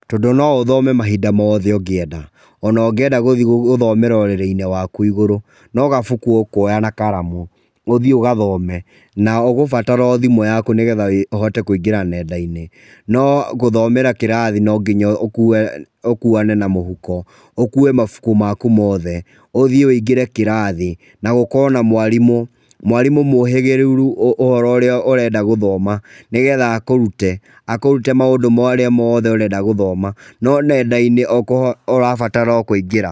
Tondũ no ũthome mahinda mothe ũngĩenda. O na ũngĩenda gũthiĩ gũthomera urĩrĩ-inĩ wakũ. No gabuku ũkũoya na karamu, ũthiĩ ũgathome. Na ũgũbatara o thimũ yaku nĩgetha ũhote kũingĩra nenda-inĩ. No gũthomera kĩrathi, no nginya ũkuane na mũhuko, ũkue mabuku maku mothe, ũthiĩ ũingĩre kĩrathi, na gũkorwo na mwarimũ. Mwarimũ mwũhĩgĩrĩru ũhoro ũrĩa ũrenda gũthoma, nĩgetha akũrute, akũrute maũndũ marĩa mothe ũrenda gũthoma. No nenda-inĩ ũrabatara o kũingĩra.